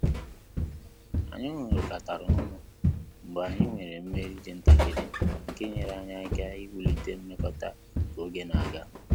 Anyị ṅurikatara ọnụ mgbe anyị nwere mmeri dị ntakịrị nke nyere anyị aka iwu lite mmekota ka oge na aga